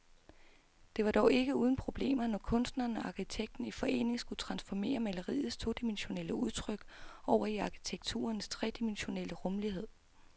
Det var dog ikke uden problemer, når kunstneren og arkitekten i forening skulle transformere maleriets todimensionelle udtryk over i arkitekturens tredimensionelle rumlighed.